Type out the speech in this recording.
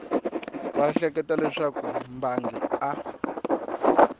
va ehleketa leswaku mbangi a